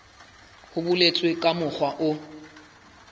ho boletswe ka mokgwa o